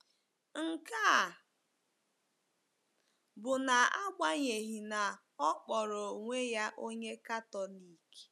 Nke a bụ n’agbanyeghị na ọ kpọrọ onwe ya onye Katọlik.